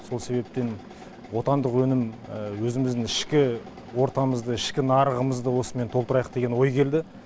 сол себептен отандық өнім өзіміздің ішкі ортамызды ішкі нарығымызды осымен толтырайық деген ой келді